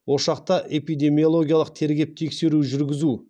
ошақта эпидемиологиялық тергеп тексеру жүргізу